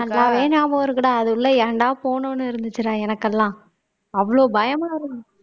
நல்லாவே ஞாபகம் இருக்குடா அது உள்ள ஏன்டா போனோம்னு இருந்துச்சுடா எனக்கெல்லாம் அவ்வளவு பயமா இருந்தது